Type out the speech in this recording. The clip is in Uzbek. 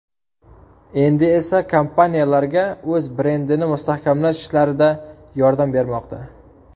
Endi esa kompaniyalarga o‘z brendini mustahkamlash ishlarida yordam bermoqda.